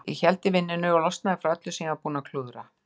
Ég héldi vinnunni og losnaði frá öllu sem ég var búinn að klúðra.